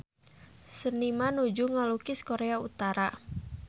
Seniman nuju ngalukis Korea Utara